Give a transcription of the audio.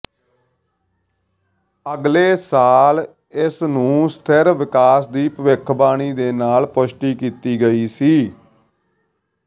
ਅਗਲੇ ਸਾਲ ਇਸ ਨੂੰ ਸਥਿਰ ਵਿਕਾਸ ਦੀ ਭਵਿੱਖਬਾਣੀ ਦੇ ਨਾਲ ਪੁਸ਼ਟੀ ਕੀਤੀ ਗਈ ਸੀ